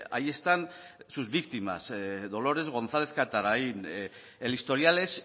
ahí están sus víctimas dolores gonzález catarain el historial es